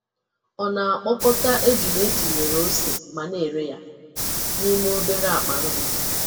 Ọ na-akpọkọta ejula etinyere ose ma na-ere ya n'ime obere akpa nri.